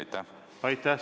Aitäh!